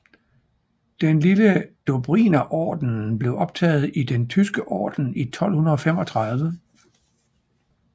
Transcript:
Den lille dobrinerordenen blev optaget i Den Tyske Orden i 1235